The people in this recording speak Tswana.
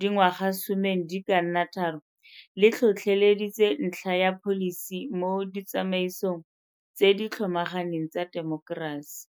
dingwagasomeng di ka nna tharo, le tlhotlhe leditse ntlha ya pholisi mo ditsamaisong tse di tlhomaganeng tsa temokerasi.